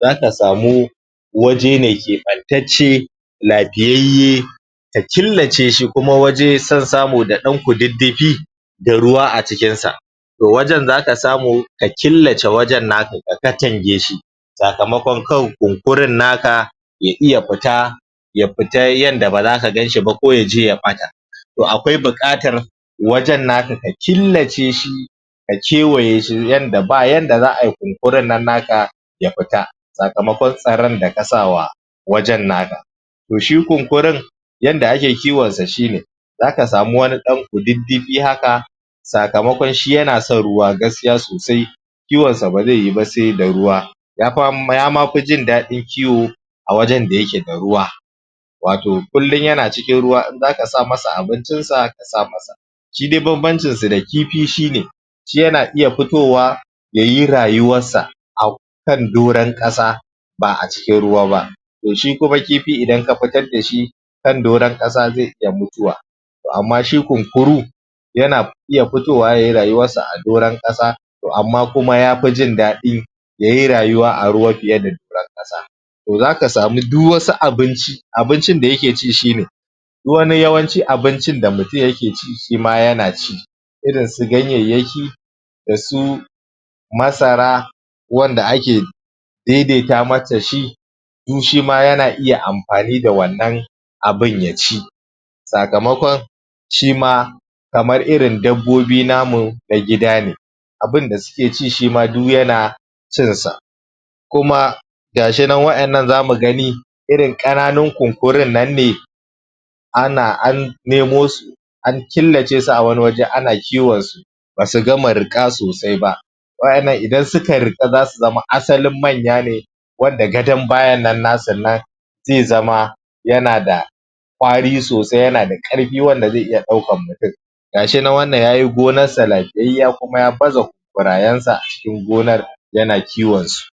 za ka samu waje keɓantacce lafiyayye, ka killace shi, kuma waje so samu da ɗan kududdufi da ruwa a cikinsa. To wajen za ka samu ka killace wajen naka ka katange shi sakamakonkawai kunkurin naka, ya iya fita ya fita yadda ba za ka gan shi ba ko yaje ya ɓata. to akwai buƙatar wajen naka ka killace shi ka kewaye shi yadda ba yadda za'a ai kunkurun nan naka ya fita, sakamakon tsaron da ka sawa wajen naka To shi kunkurun yadda ake kiwon sa shine za ka samiwani ɗan kududdufi haka, sakamakon shi yana son ruwa gaskiya sosai, kiwon sa ba zai yiwu ba sai da ruwa yama fi jin daɗin kiwo a wajen da ayke da ruwa, wato kullum yana cikin ruwa, in za ka sa masa abincinsa, ka sa masa. Shi dai banbancinsa da kifi shine, shi yana iya fitowa, ya yi rayuwarsa a kan doron ƙasa, ba'a cikin ruwa ba. To shi kuma kifi idan ka fitar da shi, kan doron ƙasa zai iya mutuwa to amma shi kunkuru, yana iya fitowa yayi rayuwarsa a kan doron ƙasa to amma kuma ya fi jin daɗi ya yi rayuwa a ruwa fiye da doron ƙasa. To za ka sami duk asu abinci abincin da yake ci shine duk wani yawanci abincin da mutum yake ci shi ma yana ci. Irinsu ganyayyaki, da su masara, wanda ake daidaita mata shi du shima yana iya amfani da wannan abin ya ci, sakamakon shima kamar irin dabbobi namu na gidane. Abunda suke ci, shima du yana cinsa, kuma ga shi nan wa'innan za mu gani irin ƙananun Kunkurun nan ne an nemo su an killace su a wani waje ana kiwonsu ba su ganma riƙa sosai ba wa'yannan idan suka riƙa za su zama asalin manya ne wanda gadan bayan nan nasu zai zama yana da kwari sosai, yana da ƙarfi wanda zai iya ɗaukan mutum. Ga shi nan wannan ya yi gonarsa lafiyayyiya kuma ya baza kunkurarensa a cikin gonar yana kiwon su